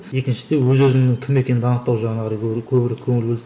екіншіде өз өзінің кім екенін анықтау жағына қарай көбірек көңіл бөлдік